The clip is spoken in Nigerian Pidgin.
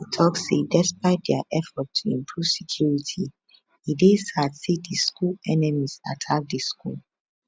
e tok say despite dia effort to improve security e dey sad say di school enemies attack di school